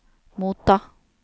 motta